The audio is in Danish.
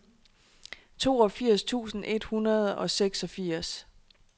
toogfirs tusind et hundrede og seksogfirs